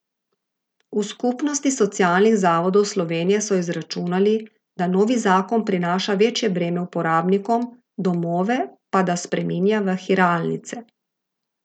V Skupnosti socialnih zavodov Slovenije so izračunali, da novi zakon prinaša večje breme uporabnikom, domove pa da spreminja v hiralnice.